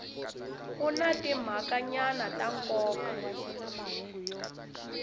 ku na timhakanyana ta nkoka